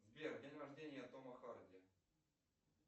сбер день рождения тома харди